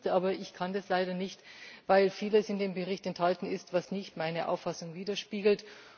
Aber ich kann das leider nicht, weil vieles in dem Bericht enthalten ist, was nicht meine Auffassung widerspiegelt.